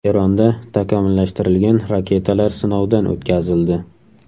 Eronda takomillashtirilgan raketalar sinovdan o‘tkazildi.